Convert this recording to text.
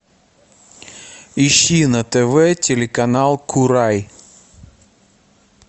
ищи на тв телеканал курай